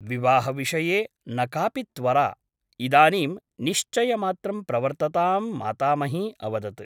विवाहविषये न कापि त्वरा । इदानीं निश्चयमात्रं प्रवर्तताम् मातामही अवदत् ।